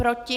Proti?